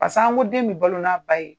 Paseke an ko den bɛ balo n'a ba ye